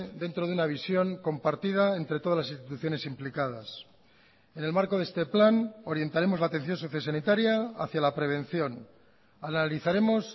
dentro de una visión compartida entre todas las instituciones implicadas en el marco de este plan orientaremos la atención sociosanitaria hacia la prevención analizaremos